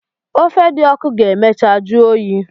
Ofe di ọku ga emecha juyi.